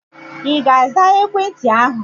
Ị ga-aza ekwentị ahụ?